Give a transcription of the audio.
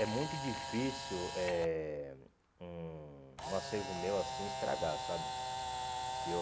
É muito difícil eh um um acervo meu assim estragar, sabe? Eu